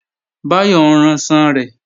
Báyọ̀ ń ranṣan rẹ̀